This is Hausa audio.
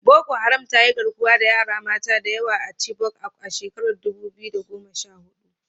Boko Haram ta yi garkuwa da yara mata da yawa a Chibok a shekarar dubu biyu da goma sha hudu.